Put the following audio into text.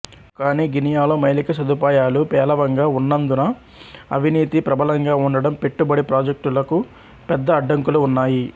కానీ గినియాలో మైళిక సదుపాయాలు పేలవంగా ఉన్నాందున అవినీతి ప్రబలంగా ఉండడం పెట్టుబడి ప్రాజెక్టులకు పెద్ద అడ్డంకులు ఉన్నాయి